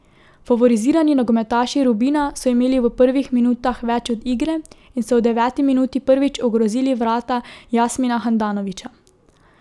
Favorizirani nogometaši Rubina so imeli v prvih minutah več od igre in so v deveti minuti prvič ogrozili vrata Jasmina Handanovića.